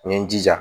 N ye n jija